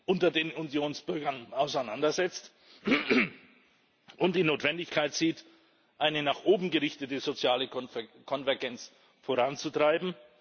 unter den Unionsbürgern auseinandersetzt, und die Notwendigkeit sieht, eine nach oben gerichtete soziale Konvergenz voranzutreiben?